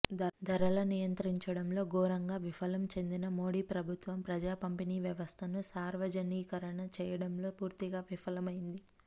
ధరలను నియంత్రించడంలో ఘోరంగా విఫలం చెందిన మోడీ ప్రభుత్వం ప్రజా పంపిణీ వ్యవస్థను సార్వజనీకరణ చేయడంలో పూర్తిగా విఫలమైంది